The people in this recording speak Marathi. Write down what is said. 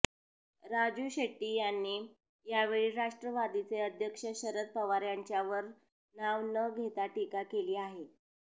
राजू शेट्टी यांनी यावेळी राष्ट्रवादीचे अध्यक्ष शरद पवार यांच्यावर नाव न घेता टीका केली आहे